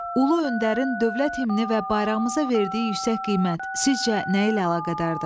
Ulu öndərin dövlət himni və bayrağımıza verdiyi yüksək qiymət sizcə nə ilə əlaqədardır?